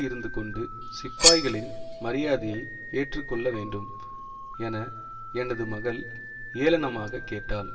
இருந்துகொண்டு சிப்பாய்களின் மரியாதையை ஏற்றுக்கொள்ள வேண்டும் என எனது மகள் ஏளனமாகக் கேட்டாள்